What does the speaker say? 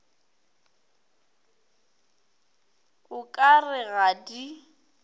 o ka re ga di